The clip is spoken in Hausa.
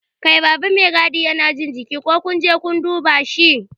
Kai baba Mai gadi Yana jin jiki, ko kunje kun dube shi?